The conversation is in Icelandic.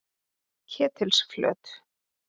Ketilsflöt